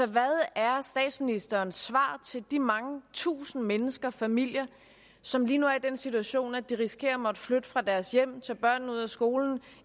hvad er statsministerens svar til de mange tusinde mennesker og familier som lige nu er i den situation at de risikerer at måtte flytte fra deres hjem tage børnene ud af skolen og